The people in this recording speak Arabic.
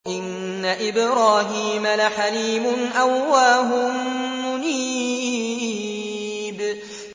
إِنَّ إِبْرَاهِيمَ لَحَلِيمٌ أَوَّاهٌ مُّنِيبٌ